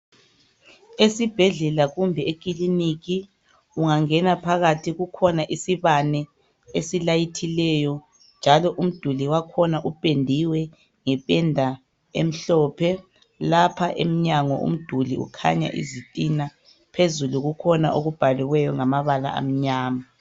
Esibhedlela kumbe ekilinika ungangena phakathi kukhona isibane esilayithileyo njalo umduli wakhona upendiwe ngependa emhlophe lapha emnyango umduli kanye izitina phezulu kukhona abhaliweyo ngamabala amnyama.